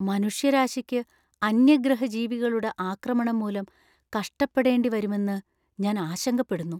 മനുഷ്യരാശിക്ക് അന്യഗ്രഹജീവികളുടെ ആക്രമണം മൂലം കഷ്ടപ്പെടേണ്ടിവരുമെന്നു ഞാൻ ആശങ്കപ്പെടുന്നു.